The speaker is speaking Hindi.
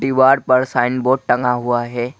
दीवार पर साइनबोर्ड टंगा हुआ है।